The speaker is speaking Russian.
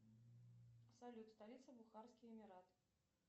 салют столица бухарский эмират